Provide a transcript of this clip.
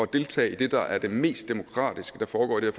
deltage i det der er det mest demokratiske der foregår i det